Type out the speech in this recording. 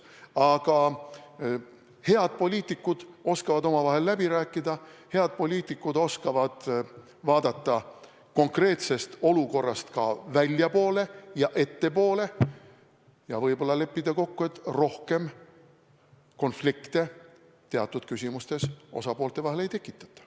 Aga head poliitikud oskavad omavahel läbi rääkida, head poliitikud oskavad vaadata konkreetsest olukorrast ka väljapoole ja ettepoole ja võib-olla leppida kokku, et rohkem konflikte teatud küsimustes osapoolte vahel ei tekitata.